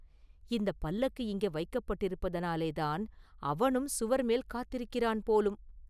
இந்தப் பல்லக்கு இங்கே வைக்கப்பட்டிருப்பதினாலேதான் அவனும் சுவர் மேல் காத்திருக்கிறான் போலும்!